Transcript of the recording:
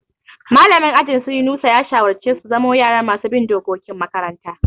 Mallamin ajin su Yunusa ya shawarce su zamo yara masu bin dokokin makaranta.